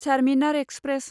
Charminar express